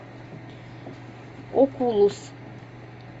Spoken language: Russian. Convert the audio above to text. окулус